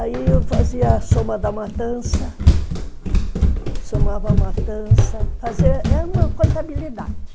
Aí eu fazia a soma da matança, somava a matança, fazia... Era uma contabilidade.